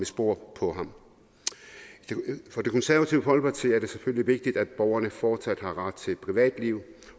sporet af ham for det konservative folkeparti er det selvfølgelig vigtigt at borgerne fortsat har ret til et privatliv